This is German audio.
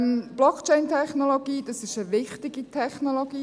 Blockchain-Technologie ist eine wichtige Technologie.